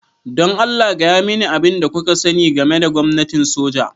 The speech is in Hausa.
Don Allah, gaya mani abin da kuka sani game da gwamnatin soja.